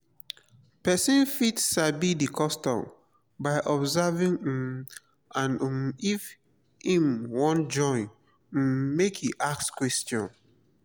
persin fit sabi di customs by observing um and um if im won join um make e ask question